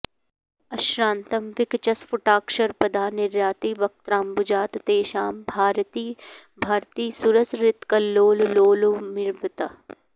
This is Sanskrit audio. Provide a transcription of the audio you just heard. अश्रान्तं विकचस्फुटाक्षरपदा निर्याति वक्त्राम्बुजात् तेषां भारति भारती सुरसरित्कल्लोललोलोर्मिवत्